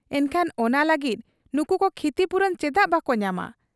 ᱮᱱᱠᱷᱟᱱ ᱚᱱᱟ ᱞᱟᱹᱜᱤᱫ ᱱᱩᱠᱩᱫᱚ ᱠᱷᱤᱛᱤᱯᱩᱨᱚᱱ ᱪᱮᱫᱟᱜ ᱵᱟᱠᱚ ᱧᱟᱢᱟ ᱾